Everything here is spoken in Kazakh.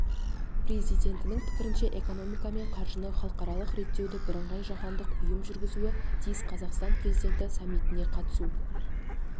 президентінің пікірінше экономика мен қаржыны халықаралық реттеуді бірыңғай жаһандық ұйым жүргізуі тиіс қазақстан президенті саммитіне қатысу